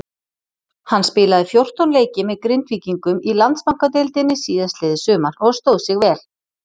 Hann spilaði fjórtán leiki með Grindvíkingum í Landsbankadeildinni síðastliðið sumar og stóð sig vel.